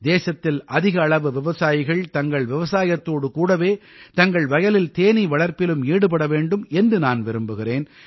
தேசத்தில் அதிக அளவு விவசாயிகள் தங்கள் விவசாயத்தோடு கூடவே தங்கள் வயலில் தேனீ வளர்ப்பிலும் ஈடுபட வேண்டும் என்று நான் விரும்புகிறேன்